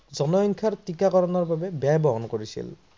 জনসংখ্যাৰ টিকাকৰণৰ বাবে ব্যয় বহম কৰিছিল।